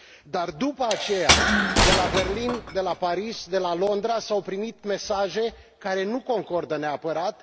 dar, după aceea, de la Berlin, de la Paris, de la Londra s au primit mesaje care nu concordă neapărat.